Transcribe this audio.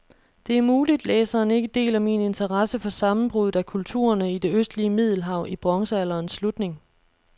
Det er muligt, læseren ikke deler min interesse for sammenbruddet af kulturerne i det østlige middelhav i bronzealderens slutning.